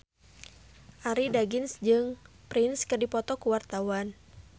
Arie Daginks jeung Prince keur dipoto ku wartawan